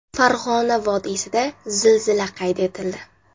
Farg‘ona vodiysida zilzila qayd etildi.